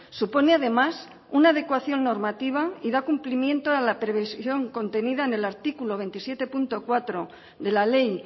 supone además una adecuación normativa y da cumplimiento a la previsión contenida en el artículo veintisiete punto cuatro de la ley